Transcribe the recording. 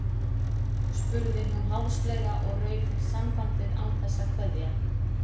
spurði hún háðslega og rauf sambandið án þess að kveðja.